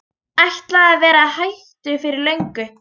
Ætlaði að vera hættur fyrir löngu.